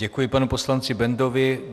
Děkuji panu poslanci Bendovi.